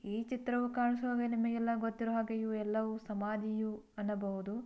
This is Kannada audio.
ಈ ಚಿತ್ರದಲ್ಲಿ ಕಾಣಿಸ್ತಾ ಇರೋದು ನಿಮಗೆಲ್ಲಾ ಗೊತ್ತಿರಬೇಕು ಎಲ್ಲವೂ ಸಮಾಧಿ ಅನ್ನಬಹುದು